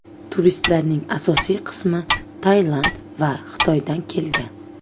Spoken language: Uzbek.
Turistlarning asosiy qismi Tailand va Xitoydan kelgan.